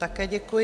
Také děkuji.